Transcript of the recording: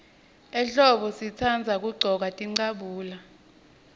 ehlombo sitandza kuggcoka tincabule